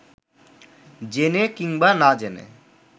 জেনে কিংবা না জেনে